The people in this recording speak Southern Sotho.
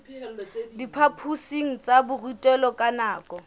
diphaphosing tsa borutelo ka nako